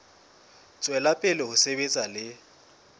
tswela pele ho sebetsa le